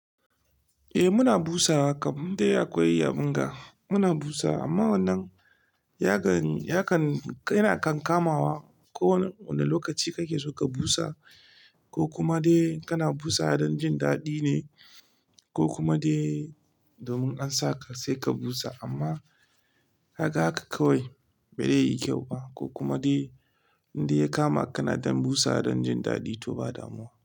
Eh muna busawa, kam in dai akwai abinda muna busawa amma wannan yakan, yana kan kamawa ko wane lokaci kake so ka busa ko kuma dai kana busa don jin daɗi ne ko kuma dai domin an saka sai ka busa amma ka ga haka kawai bai zai yi kyau ba ko kuma dai indai ya kama ka kana dan busawa don jin daɗi to ba damuwa.